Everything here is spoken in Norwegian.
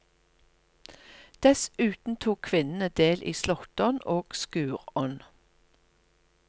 Dessuten tok kvinnene del i slåttonn og skurdonn.